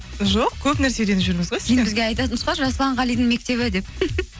жоқ көпнәрсе үйреніп жүрміз ғой сізден енді бізге айтатын шығар жасұлан қалидің мектебі деп